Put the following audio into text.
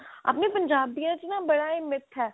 ਆਪਣੇ ਪੰਜਾਬੀਆਂ ਚ ਨਾ ਬੜਾ ਹੀ ਮਿੱਠਾ